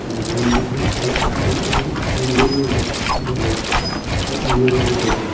Room भी बहोत साफ सीन और विंडो भी दीग दिग रहा एक अल्मीरा भी दिग रहा है।